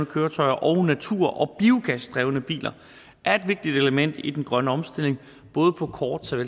køretøjer og natur og biogasdrevne biler er et vigtigt element i den grønne omstilling både på kort og